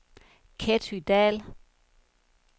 Ketty Dahl